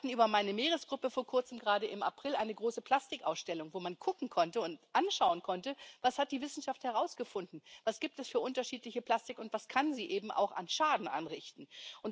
Wir hatten über meine Meeresgruppe vor Kurzem gerade, im April, eine große Plastikausstellung, wo man gucken konnte und anschauen konnte, was die Wissenschaft herausgefunden hat, was es für unterschiedliche Plastik gibt und was sie eben auch an Schaden anrichten kann.